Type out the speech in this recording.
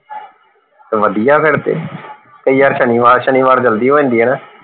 ਵਧੀਆ ਫੇਰ ਤੇ ਤੇ ਯਾਰ ਸ਼ਨੀਵਾਰ ਸ਼ਨੀਵਾਰ ਜਲਦੀ ਹੋ ਜਾਂਦੀ ਹੈ ਨਾ